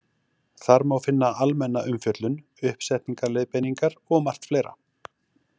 Þar má finna almenna umfjöllun, uppsetningarleiðbeiningar og margt fleira.